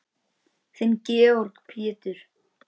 Þinn Georg Pétur.